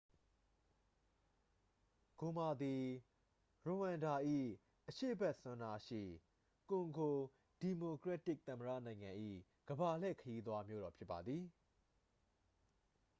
ဂိုမာ သည် ရဝမ်ဒါ၏ အရှေ့ဘက်စွန်းနားရှိ ကွန်ဂို ဒီမိုကရက်တစ်သမ္မတနိုင်ငံ၏ ကမ္ဘာလှည့်ခရီးသွားမြို့တော်ဖြစ်ပါသည်